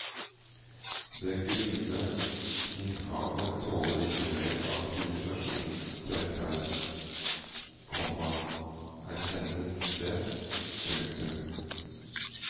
Det grunne innhavet tåler ikke mer av sivilisasjonens fremferd, komma erkjennes det. punktum